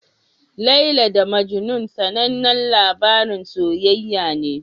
Laila da Majnun sanannen labarin soyayya ne.